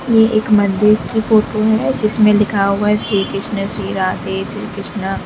ये एक मंदिर की फोटो है जिसमें लिखा हुआ श्री कृष्णा श्री राधे श्री कृष्णा।